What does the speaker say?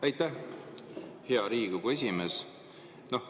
Aitäh, hea Riigikogu esimees!